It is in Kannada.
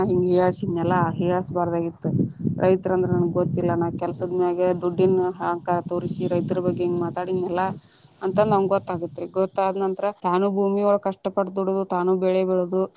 ಹಿಂಗ ಹೀಯಾಳಿಸಿದ್ನಲ್ಲ ಹೀಯಾಳಿಸಬಾರದಾಗಿತ್ತ, ರೈತರ ಅಂದ್ರ ನಮ್ಗ ಗೊತ್ತಿಲ್ಲಾ ನಾವ ಕೆಲಸದ ಮ್ಯಾಗ ದುಡ್ಡಿನ ಅಹಂಕಾರ ತೋರಿಸಿ ರೈತರ ಬಗ್ಗೆ ಹಿಂಗ ಮಾತಾಡಿನಿಲ್ಲಾ, ಅಂತ ನಮ್ಗ ಗೊತ್ತ ಆಗತ್ತ ರೀ ಗೊತ್ತ ಆದ ನಂತರ ತಾನು ಭೂಮಿ ಒಳಗ ಕಷ್ಟ ಪಟ್ಟ ದುಡದ ತಾನು ಬೆಳೆ ಬೆಳೆದು.